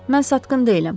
Mən satqın deyiləm.